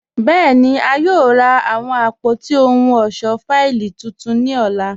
Bẹẹni, a yòò rà awọn àpótí ọhun ọṣọ fáílì títún ni ọlá.